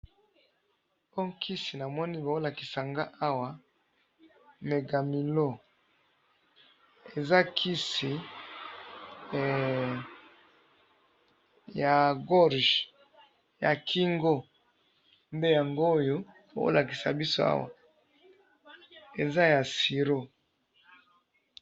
oyo kisi na moni bo lakisi ngayi awa eza kisi ya kingo